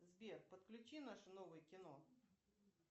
сбер подключи наше новое кино